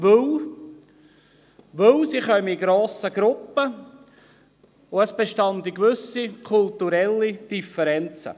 Denn sie kämen in grossen Gruppen und es bestünden gewisse kulturelle Differenzen.